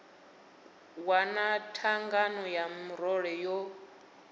wana thangana ya murole yo